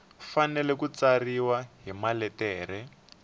fanele ku tsariwa hi maletere